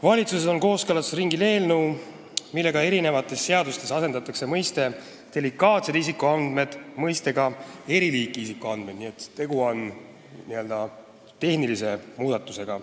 Valitsuses on kooskõlastusringil eelnõu, millega eri seadustes asendatakse delikaatsete isikuandmete mõiste sõnadega "eriliiki isikuandmed", nii et tegu on tehnilise muudatusega.